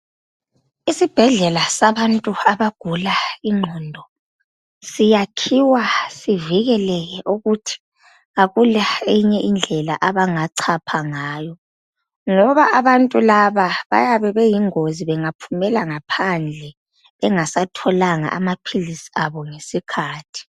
Isibhedlela sabantu abagula ingqondo siyakhiwa zivikeleke ukuthi akula eyinye indlela abangachapha ngayo. Ngoba abantu laba babeyingozi bengaphumela ngaphandle bengasatholanga amaphilisi ngesikhathi.